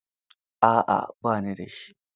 A'a ba ni da shi.